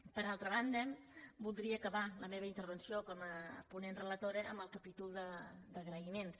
per altra banda voldria acabar la meva intervenció com a ponent relatora amb el capítol d’agraïments